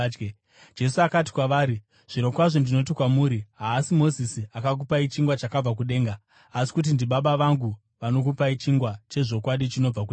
Jesu akati kwavari, “Zvirokwazvo ndinoti kwamuri, haasi Mozisi akakupai chingwa chakabva kudenga, asi kuti ndiBaba vangu vanokupai chingwa chezvokwadi chinobva kudenga.